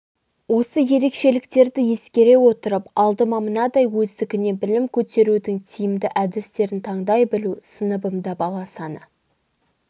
осы ерекшеліктерді ескере отырып алдыма мынадай өздігінен білім көтерудің тиімді әдістерін таңдай білу сыныбымда бала саны